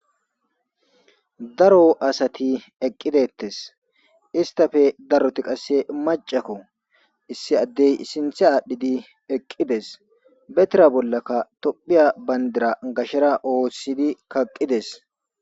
daro asati eqqidettes istafe daroti qasse macakko issi addey sinthe aadhdhidi eqqides betira bollakka tophiya bandira gashera oossidi kaqqides